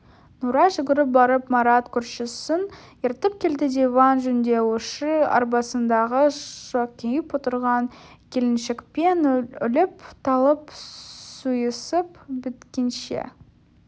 нұрай жүгіріп барып марат көршісін ертіп келді диван жөндеуші арбасындағы шоқиып отырған келіншекпен өліп-талып сүйісіп біткенше